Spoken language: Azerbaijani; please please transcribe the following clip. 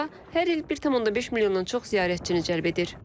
Bura hər il 1.5 milyondan çox ziyarətçini cəlb edir.